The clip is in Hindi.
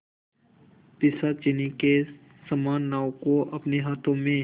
पिशाचिनी के समान नाव को अपने हाथों में